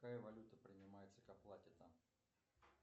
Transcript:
какая валюта принимается к оплате там